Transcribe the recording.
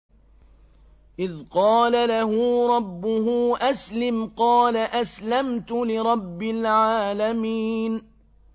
إِذْ قَالَ لَهُ رَبُّهُ أَسْلِمْ ۖ قَالَ أَسْلَمْتُ لِرَبِّ الْعَالَمِينَ